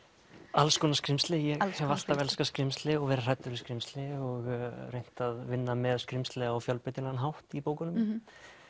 alls konar skrímsli ég hef alltaf elskað skrímsli og verið hræddur við skrímsli og reynt að vinna með skrímsli á fjölbreytilegan hátt í bókunum